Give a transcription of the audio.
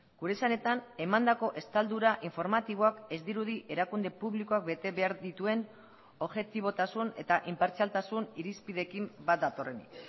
gure esanetan emandako estaldura informatiboak ez dirudi erakunde publikoak betebehar dituen objetibotasun eta inpartzialtasun irizpideekin bat datorrenik